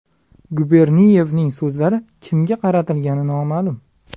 Guberniyevning so‘zlari kimga qaratilgani noma’lum.